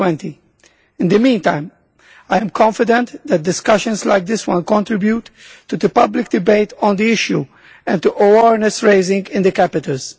2020. In the meantime, I am confident that discussions like this one contribute to the public debate on the issue and to awareness raising in the capitals.